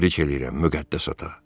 Təbrik eləyirəm, Müqəddəs ata.